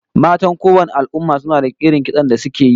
Matan kowanne al'umma suna da irin kitson da suke yi